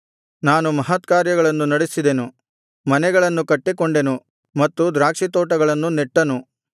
ನಾನು ಮಹತ್ಕಾರ್ಯಗಳನ್ನು ನಡೆಸಿದೆನು ಮನೆಗಳನ್ನು ಕಟ್ಟಿಕೊಂಡೆನು ಮತ್ತು ದ್ರಾಕ್ಷಿತೋಟಗಳನ್ನು ನೆಟ್ಟನು